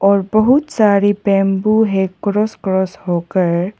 और बहुत सारी बम्बू है क्रॉस क्रॉस होकर।